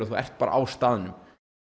þú ert bara á staðnum